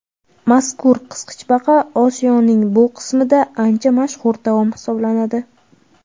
Mazkur qisqichbaqa Osiyoning bu qismida ancha mashhur taom hisoblanadi.